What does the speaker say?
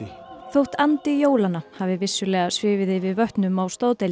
þótt andi jólanna hafi vissulega svifið yfir vötnum á